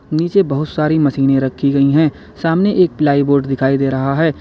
नीचे बहुत सारी मशीने रखी गई हैं सामने एक प्लाईवुड दिखाई दे रहा है।